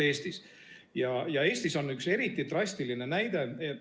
Eesti kohta on tuua üks eriti drastiline näide.